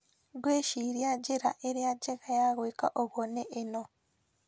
Ngwĩciria njĩra ĩrĩa njega ya gwĩka ũguo nĩ ĩno: